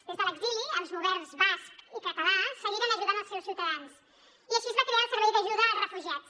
des de l’exili els governs basc i català seguiren ajudant els seus ciutadans i així es va crear el servei d’ajuda als refugiats